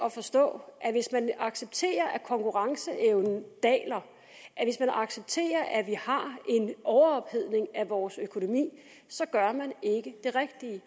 at forstå at hvis man accepterer at konkurrenceevnen daler at accepterer at vi har en overophedning af vores økonomi så gør man ikke det rigtige